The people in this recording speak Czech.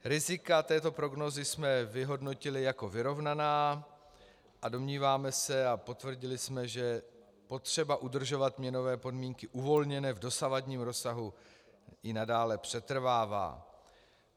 Rizika této prognózy jsme vyhodnotili jako vyrovnaná a domníváme se, a potvrdili jsme, že potřeba udržovat měnové podmínky uvolněné v dosavadním rozsahu i nadále přetrvává.